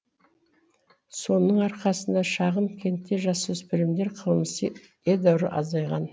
соның арқасында шағын кентте жасөспірімдер қылмысы едәуір азайған